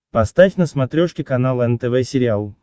поставь на смотрешке канал нтв сериал